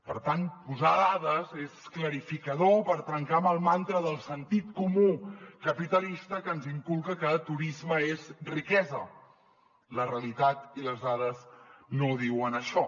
per tant posar dades és clarificador per trencar amb el mantra del sentit comú capitalista que ens inculca que turisme és riquesa la realitat i les dades no diuen això